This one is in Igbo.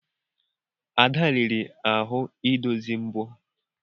Ada riri ahụ idozi mbo.